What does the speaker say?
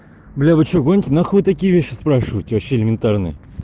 бля вы что гоните на хуй такие вещи спрашивать вообще элементарные